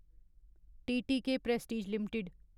TTK Prestige limited